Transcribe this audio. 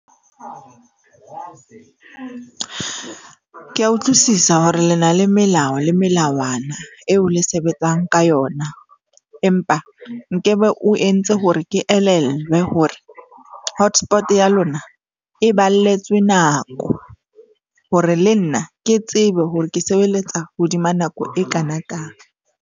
Ke a utlwisisa hore le na le melao le melawana eo le sebetsang ka yona. Empa nkebe o entse hore ke elellwe hore hotspot ya lona e balletsweng nako, hore le nna ke tsebe hore ke sebeletsa hodima nako e kana kang.